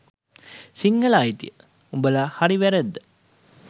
සිංහල අයිතිය – උඹල හරි වැරැද්ද